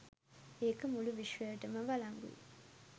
ඒක මුළු විශ්වයටම වලංගුයි.